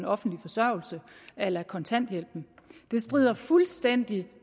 offentlig forsørgelse a la kontanthjælpen det strider fuldstændig